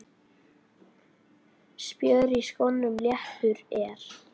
Spjör í skónum leppur er.